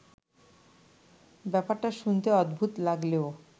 ব্যাপারটা শুনতে অদ্ভুত লাগলেও